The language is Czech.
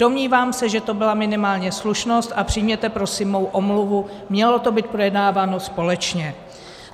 Domnívám se, že to byla minimálně slušnost, a přijměte prosím moji omluvu, mělo to být projednáváno společně.